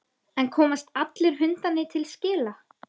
En komast allir hundarnir til skila?